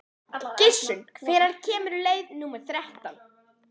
Gissunn, hvenær kemur leið númer þrettán?